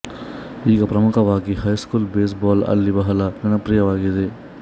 ಈಗ ಪ್ರಮುಖವಾಗಿ high school baseball ಅಲ್ಲಿ ಬಹಳ ಜನಪ್ರಿಯವಾಗಿದೆ